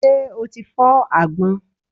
Ṣé o ti fọ́ àgbọn?